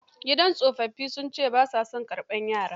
Gidan tsofaffin sun ce ba saa karbar yara.